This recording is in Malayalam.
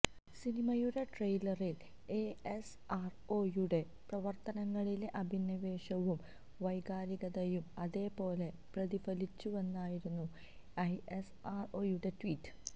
സിനിമയുടെ ട്രെയിലറിൽ ഐഎസ്ആർഒയുടെ പ്രവർത്തനങ്ങളിലെ അഭിനിവേശവും വൈകാരികതയും അതേപോലെ പ്രതിഫലിച്ചുവെന്നായിരുന്നു ഐഎസ്ആർഒയുടെ ട്വീറ്റ്